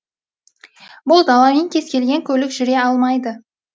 бұл даламен кез келген көлік жүре алмайды